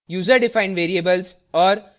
* user defined variables और